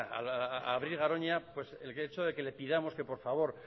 a abrir garoña pues el hecho de que le pidamos que por favor